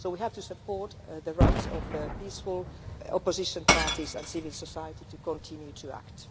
So we have to support the rights of peaceful opposition parties and civil society to continue to act.